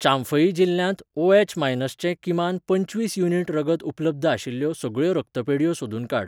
चांफई जिल्ल्यांत O H. Minus चें किमान पंचवीस युनिट रगत उपलब्ध आशिल्ल्यो सगळ्यो रक्तपेढयो सोदून काड.